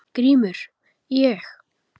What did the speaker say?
GRÍMUR: Ég?